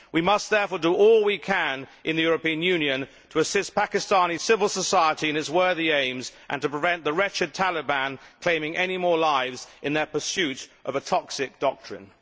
We must therefore do all we can in the European Union to assist Pakistani civil society in its worthy aims and to prevent the wretched Taliban claiming any more lives in their pursuit of a toxic doctrine.